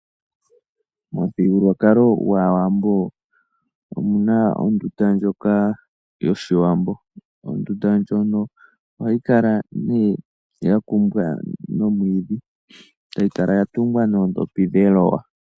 Momuthigululwakalo gwAawambo omuna ondunda ndjoka yOshiwambo. Ondunda ndjono ohayi kala nee ya kumbwa nomwiidhi, tayinkala ya tungwa noodhopi dheloya.